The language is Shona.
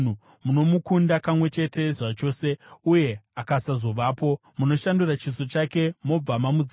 Munomukunda kamwe chete zvachose, uye akasazovapo; munoshandura chiso chake mobva mamudzinga.